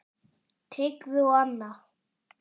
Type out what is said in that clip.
Tryggvi og Anna.